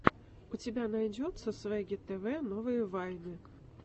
у тебя найдется свегги тв новые вайны